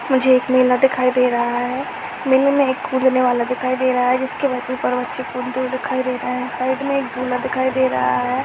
मुझे एक मेला दिखाई दे रहा है मेले में एक कूदने वाला दिखाई दे रहा है जिसके सब ऊपर बच्चे कूदते हुए दिखाई दे रहे है साइड मैं झूला दिखाई दे रहा है।